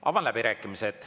Avan läbirääkimised.